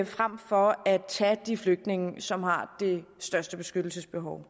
frem for at tage de flygtninge som har det største beskyttelsesbehov